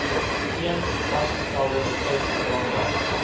geen vasgestelde tydsraamwerk